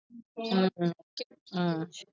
உம் உம்